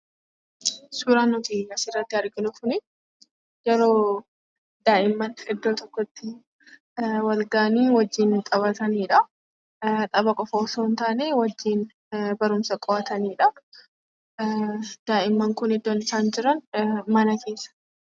Suuraan nuti asirratti arginu kuni, yeroo daa'imman iddoo tokkotti wal gahanii, wajjiin taphatanidha. Tapha qofa osoo hin taanee, wajjiin barumsaa qo'atanidha. Daa'imman kun iddoo isaan jiran mana keessa.